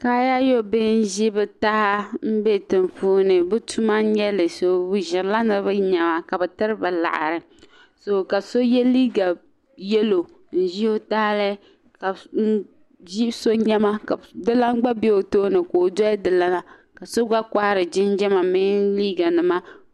Kaayaayɔ bihi n ʒi bɛ taha n bɛ tiŋ puuni bi tuma n nyɛli bɛ ʒirila niribi nema ka yirina liɣiri ka sɔ ye liiga yelɔw n ʒi ɔ tahili bi sɔ nema ka dilan gba be ɔ tooni ka ɔ dɔli dilana ka sɔ gba kohiri jinjam a ni liiga nima